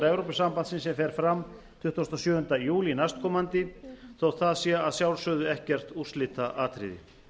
evrópusambandsins sem fer fram tuttugasta og sjöunda júlí næstkomandi þótt það sé að sjálfsögðu ekkert úrslitaatriði